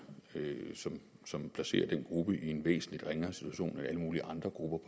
som placerer den gruppe i en væsentlig ringere situation end alle mulige andre grupper